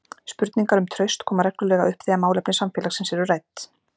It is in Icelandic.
Spurningar um traust koma reglulega upp þegar málefni samfélagsins eru rædd.